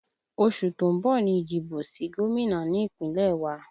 Oṣù tó ń bọ̀ ni ìdìbò sí gómìnà ní Ìpínlẹ̀ wa